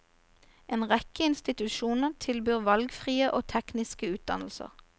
En rekke institusjoner tilbyr valgfrie og tekniske utdannelser.